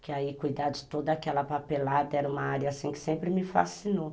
Porque aí cuidar de toda aquela papelada era uma área assim que sempre me fascinou.